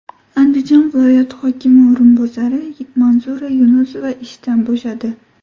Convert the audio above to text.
Andijon viloyati hokimi o‘rinbosari Manzura Yunusova ishdan bo‘shadi.